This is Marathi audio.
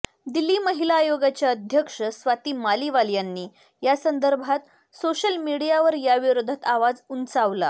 दिल्ली महिला आयोगाच्या अध्यक्ष स्वाती मालीवाल यांनी या संदर्भात सोशल मीडियावर याविरोधात आवाज उंचावला